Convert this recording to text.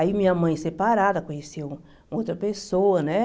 Aí minha mãe separada, conheceu outra pessoa, né?